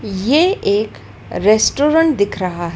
ये एक रेस्टोरेंट दिख रहा--